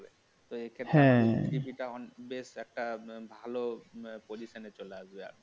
তো এক্ষেত্রে টা বেশ একটা ভালো position চলে আসবে